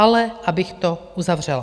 Ale abych to uzavřela.